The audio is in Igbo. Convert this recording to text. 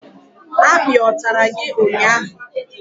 Akpi ọ tàrà gị ụnyaahụ?